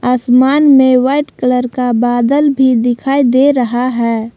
आसमान में white colour का बादल भी दिखाई दे रहा है।